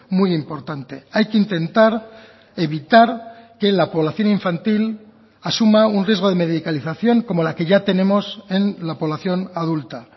muy importante hay que intentar evitar que la población infantil asuma un riesgo de medicalización como la que ya tenemos en la población adulta